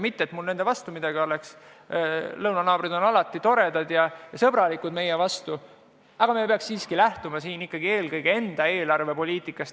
Mitte et mul nende vastu midagi oleks, lõunanaabrid on toredad ja alati sõbralikud meie vastu, aga me peaks siiski lähtuma eelkõige enda eelarvepoliitikast.